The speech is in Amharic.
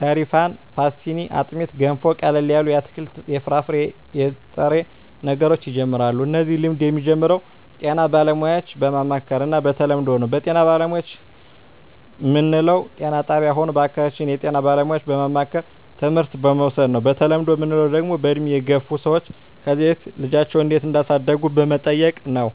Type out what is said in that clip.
ሰሪፋን ፓሥትኒ አጥሜት ገንፎ ቀለል ያሉ የአትክልት የፍራፍሬ የጥሬ ነገሮች ይጀምራሉ እነዚህ ልምድ የሚጀምረው ጤና ባለሙያዎች በማማከር እና በተለምዶው ነው በጤና ባለሙያዎች ምንለው ጤና ጣብያ ሆነ በአካባቢያችን ያሉ የጤና ባለሙያዎች በማማከርና ትምህርት በመዉሰድ ነው በተለምዶ ምንለው ደግሞ በእድሜ የገፍ ሰዎች ከዚ በፊት ልጃቸው እንዴት እዳሳደጉ በመጠየቅ ነው